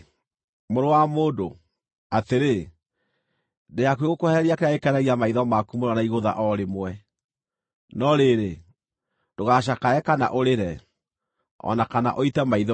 “Mũrũ wa mũndũ, atĩrĩ, ndĩ hakuhĩ gũkwehereria kĩrĩa gĩkenagia maitho maku mũno na igũtha o rĩmwe. No rĩrĩ, ndũgacakae kana ũrĩre, o na kana ũite maithori.